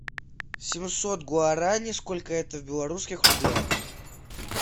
семьсот гуарани сколько это в белорусских рублях